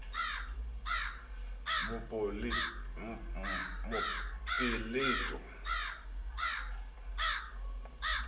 mopeleto le tshebedi so e